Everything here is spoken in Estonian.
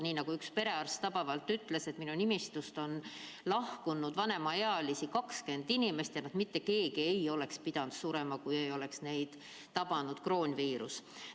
Nii nagu üks perearst tabavalt ütles: minu nimistust on lahkunud 20 vanemaealist inimest ja neist mitte keegi ei oleks pidanud surema, kui neid ei oleks tabanud kroonviirus.